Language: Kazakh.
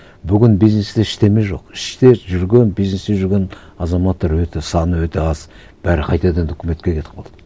бүгін бизнесте ештеңе жоқ іште жүрген бизнесте жүрген азаматтар өте саны өте аз бәрі қайтадан үкіметке кетіп қалды